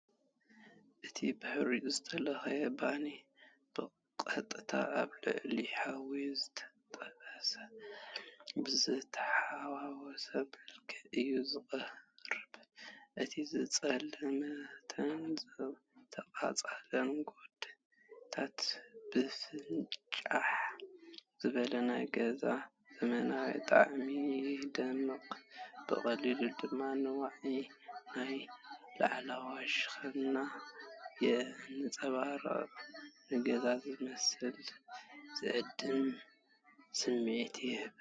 እቲ ብሓርጭ ዝተለኽየ ባኒ፡ ብቐጥታ ኣብ ልዕሊ ሓዊ ዝተጠብሰ፡ ብዝተሓዋወሰ መልክዕ እዩ ዝቐርብ። እቲ ዝጸልመተን ዝተቓጸለን ጎድኒታት ብፍንጭሕ ዝበለ ናይ ገዛ ዘመናዊ ጣዕሚ ይደምቕ፣ ብቐሊሉ ድማ ንዋዒ ናይቲ ላዕለዋይ ሸነኽ የንጸባርቕ፤ ንገዛ ዝመስልን ዝዕድምን ስምዒት ይህብ።